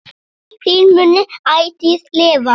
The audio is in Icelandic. Minning þín mun ætíð lifa.